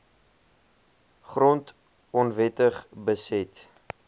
grond onwettig beset